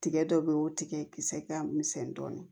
Tigɛ dɔ be yen o tigɛ kisɛ ka misɛn dɔɔnin